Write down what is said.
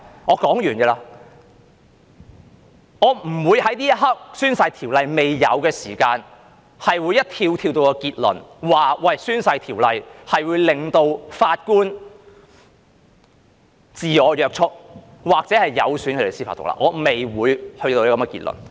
我不會在這一刻《條例》未出現這情況時便立即跳到結論，指《條例》會令法官自我約束或有損司法獨立，我不會跳到這個結論。